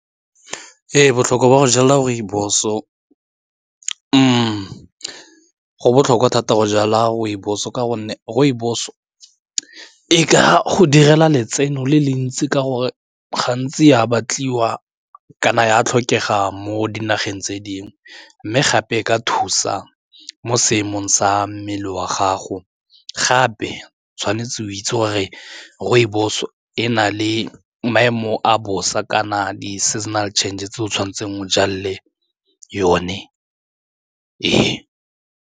Ee, botlhokwa jwa go jala rooibos o go botlhokwa thata go jala rooibos ka gonne rooibos e ka go direla letseno le le ntsi ka gore gantsi e a batliwa kana e a tlhokega mo dinageng tse dingwe mme gape e ka thusa mo seemong sa mmele wa gago, gape tshwanetse o itse gore re rooibos e na le maemo a bosa kana di-seasonal changes tse o tshwanetseng o jale yone ee.